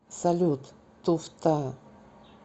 салют туфта